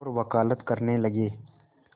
और वक़ालत करने लगे